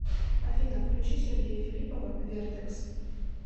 афина включи сергея филиппова вертэкс